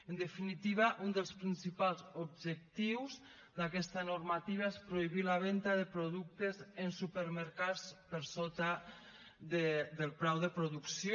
en definitiva un dels principals objectius d’aquesta normativa és prohibir la venta de productes en supermercats per sota del preu de producció